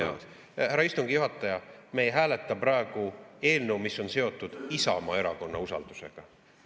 Härra istungi juhataja, me ei hääleta praegu eelnõu, mis on seotud Isamaa Erakonna usaldusega.